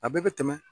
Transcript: A bɛɛ bɛ tɛmɛ